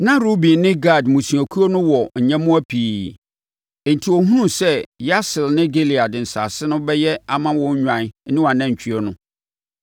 Na Ruben ne Gad mmusuakuo no wɔ nyɛmmoa pii, enti wohunuu sɛ Yaser ne Gilead nsase no bɛyɛ ama wɔn nnwan ne anantwie no,